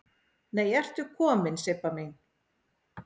Nei ertu komin Sibba mín!